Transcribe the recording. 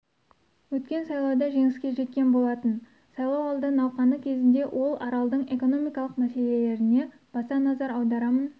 өткен сайлауда жеңіске жеткен болатын сайлауалды науқаны кезінде ол аралдың экономикалық мәселелеріне баса назар аударамын